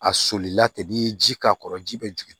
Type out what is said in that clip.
A solila ten n'i ye ji k'a kɔrɔ ji bɛ jigin